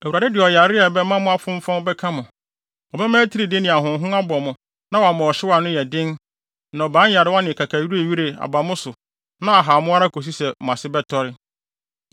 Awurade de ɔyare a ɛbɛma mo afonfɔn bɛka mo. Ɔbɛma atiridii ne ahonhon abɔ mo na wama ɔhyew a ano yɛ den, nnɔbae nyarewa ne kakawirewire aba mo so na ahaw mo ara akosi sɛ mo ase bɛtɔre.